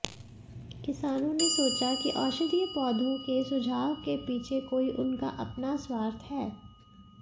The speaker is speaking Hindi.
किसानों ने सोचा कि औषधीय पौधों के सुझाव के पीछे कोई उनका अपना स्वार्थ हैं